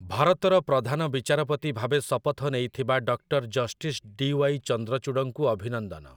ଭାରତର ପ୍ରଧାନ ବିଚାରପତି ଭାବେ ଶପଥ ନେଇଥିବା ଡକ୍ଟର୍ ଜଷ୍ଟିସ୍ ଡି. ୱାଇ. ଚନ୍ଦ୍ରଚୂଡ଼ଙ୍କୁ ଅଭିନନ୍ଦନ ।